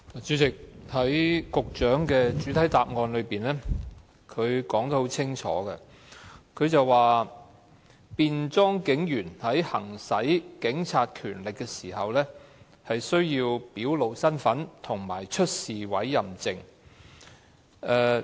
主席，局長在主體答覆中清楚表明，"便裝警務人員在行使警察權力時，需要表露身份及出示委任證"。